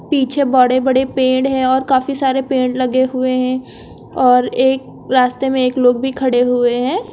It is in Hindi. पीछे बड़े बड़े पेड़ है और काफी सारे पेड़ लगे हुए हैं और एक रास्ते में एक लोग भी खड़े हुए हैं।